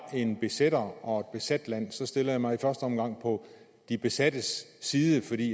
en besætter og et besat land stiller jeg mig i første omgang på de besattes side fordi